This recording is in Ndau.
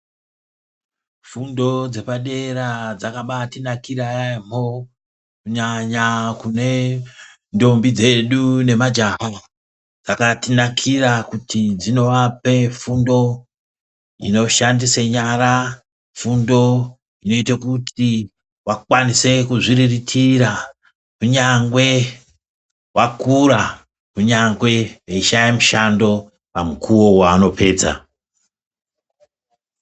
Fundo dzepadera dzakabaatinakira yaamho kunyanya kune ndombi dzedu nemajaha. Dzakatinakira kuti dzinovape fundo inoshandise nyara fundo inoite kuti vakwanise kuzviriritira kunyangwe vakura ,kunyangwe veishaye mushando pamukuwo waanopedza.